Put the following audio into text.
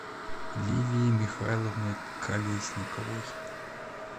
лилией михайловной колесниковой